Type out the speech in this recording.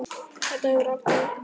Þetta hefur aldrei tekist betur.